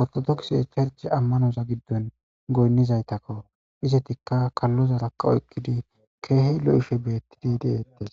oritodokise getetiza amanoza gidon goyinzaytako. Izetika kalozaraka oaykid Keehi lo'ishe detes.